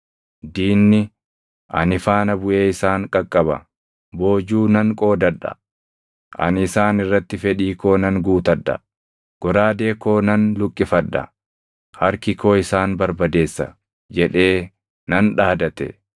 Diinni, ‘Ani faana buʼee isaan qaqqaba. Boojuu nan qoodadha; ani isaan irratti fedhii koo nan guutadha. Goraadee koo nan luqqifadha; harki koo isaan barbadeessa’ jedhee nan dhaadate.